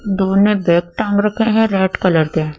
दो ने बैग टांग रखे हैं रेड कलर के--